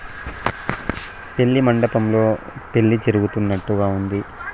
పెళ్ళి మండపంలో పెళ్ళి జరుగుతున్నట్టుగా ఉంది.